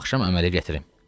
Bu axşam əmələ gətirim.